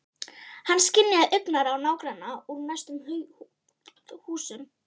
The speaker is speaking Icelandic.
Hann skynjaði augnaráð nágrannanna úr næstu húsum.